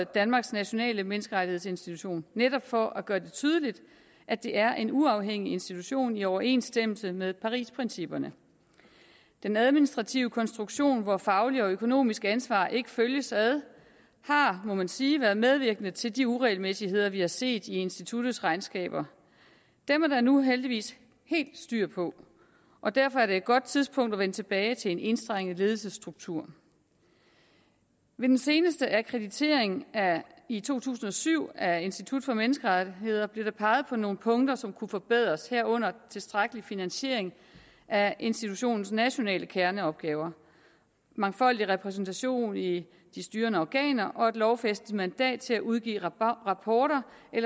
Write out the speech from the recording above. danmarks nationale menneskerettighedsinstitution netop for at gøre det tydeligt at det er en uafhængig institution i overensstemmelse med parisprincipperne den administrative konstruktion hvor fagligt og økonomisk ansvar ikke følges ad har må man sige været medvirkende til de uregelmæssigheder vi har set i instituttets regnskaber dem er der nu heldigvis helt styr på og derfor er det et godt tidspunkt at vende tilbage til en enstrenget ledelsesstruktur ved den seneste akkreditering i to tusind og syv af institut for menneskerettigheder blev der peget på nogle punkter som kunne forbedres herunder tilstrækkelig finansiering af institutionens nationale kerneopgaver mangfoldig repræsentation i de styrende organer og et lovfæstet mandat til at udgive rapporter